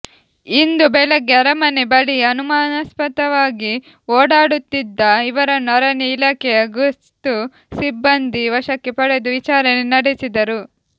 ಇಂದು ಬೆಳಗ್ಗೆ ಅರಮನೆ ಬಳಿ ಅನುಮಾಸ್ಪದವಾಗಿ ಓಡಾಡುತ್ತಿದ್ದ ಇವರನ್ನು ಅರಣ್ಯ ಇಲಾಖೆಯ ಗಸ್ತು ಸಿಬ್ಬಂದಿ ವಶಕ್ಕೆ ಪಡೆದು ವಿಚಾರಣೆ ನಡೆಸಿದರು